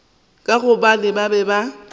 ka gobane ba be ba